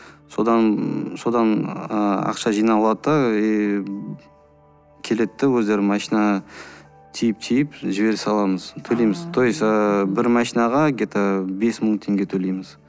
содан содан ы ақша жинап алады да и келеді де өздері машина тиеп тиеп жібере саламыз төлейміз то есть бір машинаға где то бес мың теңге төлейміз